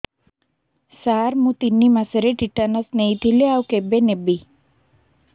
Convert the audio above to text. ସାର ମୁ ତିନି ମାସରେ ଟିଟାନସ ନେଇଥିଲି ଆଉ କେବେ ନେବି